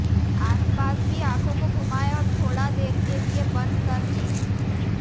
आसपास भी आंखों को घुमाएं और थोड़ देर के लिए बंद कर लें